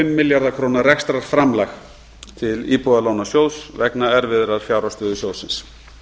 milljarða króna rekstrarframlag til íbúðalánasjóðs vegna erfiðrar fjárhagsstöðu sjóðsins